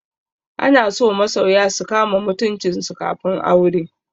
Ana so masoya su kama mutuncin su kafin aure.